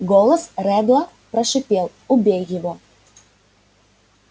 голос реддла прошипел убей его